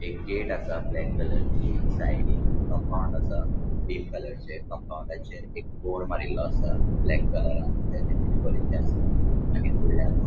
एक गेट आसा black colour ची साइडीन कम्पाउन्ड आसा ग्रीन कलर चे कंपाऊंडाचेर एक बोर्ड मारील्लो आसा ब्लॅक कलरान तेचेर किते बरेल्ले आसा आणि फुदल्यानूच --